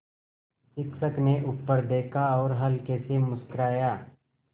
शिक्षक ने ऊपर देखा और हल्के से मुस्कराये